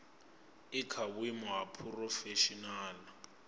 i kha vhuimo ha phurofeshinala